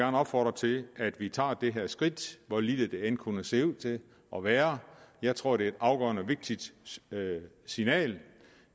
opfordre til at vi tager det her skridt hvor lille det end kunne se ud til at være jeg tror det er et afgørende vigtigt signal